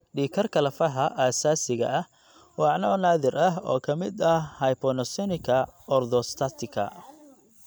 Dhiig karka lafaha aasaasiga ah waa nooc naadir ah oo ka mid ah hypotensionka orthostatika